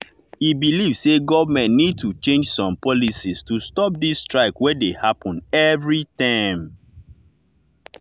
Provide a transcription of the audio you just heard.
e believe say government need to change some policies to stop this strike wey dey happen every term.